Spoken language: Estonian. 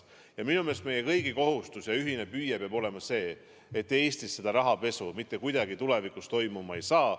Ja minu meelest meie kõigi kohustus ja ühine püüe peab olema see, et Eestis rahapesu mitte kuidagi tulevikus toimuma ei saa.